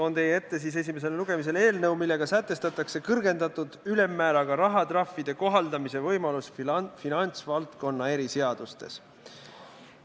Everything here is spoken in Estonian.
Toon teie ette esimesele lugemisele eelnõu, millega sätestatakse kõrgendatud ülemmääraga rahatrahvide kohaldamise võimalus finantsvaldkonna eriseadustes.